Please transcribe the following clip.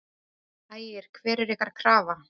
Ægir: Hver er ykkar krafa?